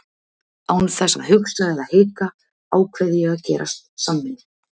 Án þess að hugsa eða hika ákveð ég að gerast samvinnu